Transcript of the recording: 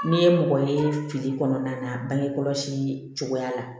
N'i ye mɔgɔ ye fili kɔnɔna na bange kɔlɔsi cogoya la